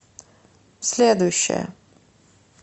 следующая